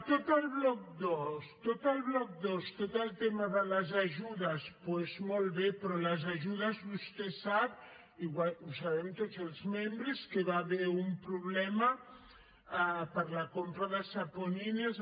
tot el bloc dos tot el bloc dos tot el tema de les ajudes doncs molt bé però les ajudes vostè ho sap ho sabem tots els membres que hi va haver un problema per la compra de saponines